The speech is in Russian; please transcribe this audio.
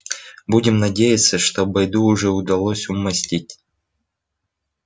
будем надеяться что бойду уже удалось её умаслить